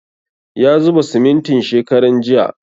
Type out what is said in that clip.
Ya zuba simintin shekaran jiya